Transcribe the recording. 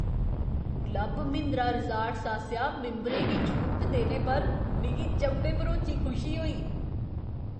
Club Mahindra resorts आसेआ मिंबरें गी छूट देने पर मिगी चंभे भरोची खुशी होई।